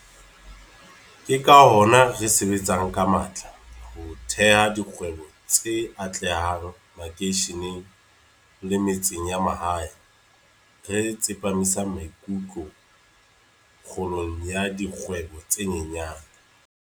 Ke ka hona re sebetsang ka matla ho theha dikgwebo tse atlehang makeisheneng le metseng ya mahae, re tsepa misang maikutlo kgolong ya dikgwebo tse nyenyane.